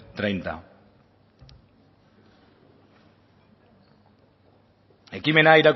treinta ekimena